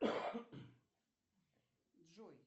джой